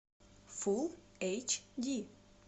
фул эйч ди